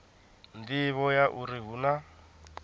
nḓivho ya uri hu na